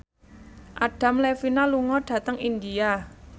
Adam Levine lunga dhateng India